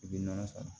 I bɛ nɔnɔ sara